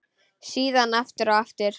Síðan aftur og aftur.